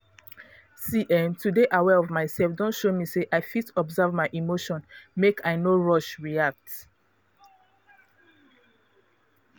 see eh to dey aware of myself don show me say i fit observe my emotion make i no rush react.